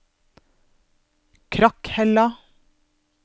Krakhella